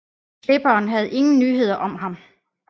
Klipperen havde ingen nyheder om ham